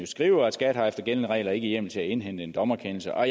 skriver at skat efter gældende regler ikke har hjemmel til at indhente en dommerkendelse og